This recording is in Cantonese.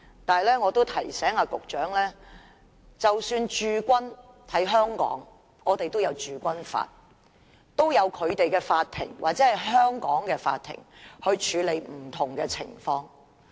但是，我也提醒局長，即使在香港駐軍也有《中華人民共和國香港特別行政區駐軍法》規管，也有香港的法庭處理不同的情況。